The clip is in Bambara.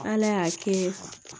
Ala y'a kɛ